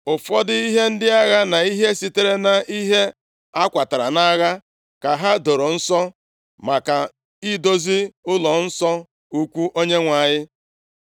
Ụfọdụ ihe agha na ihe sitere nʼihe a kwatara nʼagha ka ha doro nsọ maka idozi ụlọnsọ ukwu Onyenwe anyị.